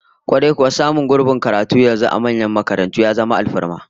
Kwarai kuwa, samun gurbin karatu yanzu a manyan makarantu ya zama alfarma